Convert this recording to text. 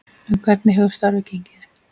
En hvernig hefur starfið gengið?